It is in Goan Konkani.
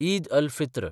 ईद अल-फित्र